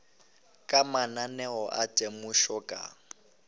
ka mananeo a temošo ka